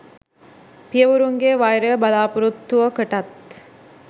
පියවරුන්ගේ වෛරය බලාපොරොත්තුවකටත්